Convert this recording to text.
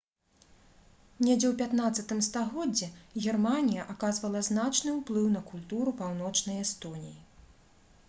недзе ў 15-м стагоддзі германія аказвала значны ўплыў на культуру паўночнай эстоніі